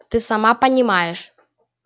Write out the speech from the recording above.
ты сама понимаешь